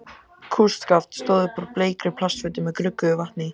Kústskaft stóð upp úr bleikri plastfötu með gruggugu vatni í.